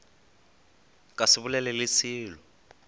ka se bolele le selo